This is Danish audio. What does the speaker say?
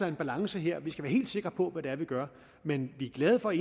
om balance her vi skal være helt sikre på hvad vi gør men vi er glade for